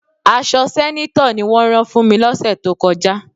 Aṣọ sẹ́nétọ̀ ni wọ́n rán fún mi lọ́sẹ̀ tó kọjá.